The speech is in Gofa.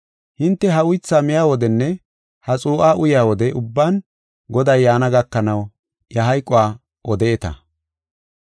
Hinte ha uytha miya wodenne ha xuu7a uyaa wode ubban Goday yaana gakanaw iya hayquwa odeeta.